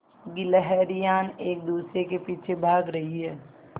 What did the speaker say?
गिल्हरियान एक दूसरे के पीछे भाग रहीं है